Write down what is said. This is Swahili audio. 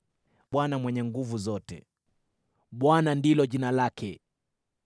Bwana Mungu Mwenye Nguvu Zote, Bwana ndilo jina lake!